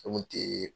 Fɛn kun tɛ